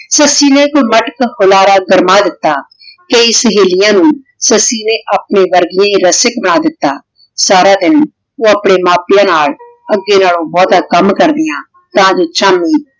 ਸੱਸੀ ਨੇ ਏਇਕ ਮਟਕ ਹੁਲਾਰਾ ਗਰਮਾ ਦਿਤਾ ਤੇ ਸਹੇਲਿਯਾਂ ਨੂ ਸੱਸੀ ਨੇ ਅਪਨੇ ਵਾਰੀ ਬਣਾ ਦਿਤਾ ਸਾਰਾ ਦਿਨ ਊ ਅਪਨੇ ਮਾਂ ਪਿਯਾਂ ਨਾਲ ਅਧੇ ਨਾਲੋ ਬੋਹ੍ਤਾ ਕਾਮ ਕਰ੍ਦਿਯਾਂ ਤਾਂ ਵਹੀ ਸ਼ਾਮ ਨੂ